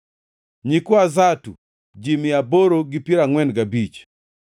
nyikwa Zatu, ji mia aboro gi piero angʼwen gabich (845),